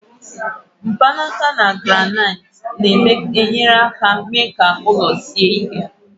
mkpanaka na granaiti na-enyere aka mee ka ụlọ ahụ sie ike